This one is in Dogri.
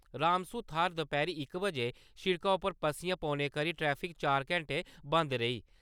रामसू थाह्‌र दपैह्‌री इक बजे शिड़का उप्पर पस्सियां पौने करी ट्रैफिक चार घैंटे बंद रेई।